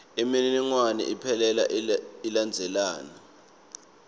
imininingwane iphelele ilandzelana